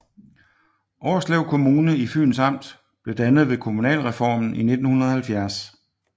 Årslev Kommune i Fyns Amt blev dannet ved kommunalreformen i 1970